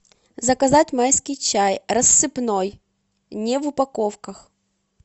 заказать майский чай рассыпной не в упаковках